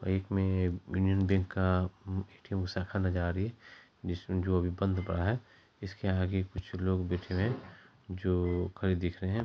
एक में Union Bank का ए.टी.एम. शाखा नजर आ रही है जिसमें जो अभी बंद पड़ा है इसके आगे कुछ लोग बेठे हुए हैं जो खड़े दिख रहे है।